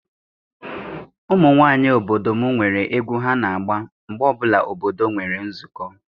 Ụmụ nwaanyị obodo m nwere egwu ha na-agba mgbe ọbụla obodo nwere nzukọ.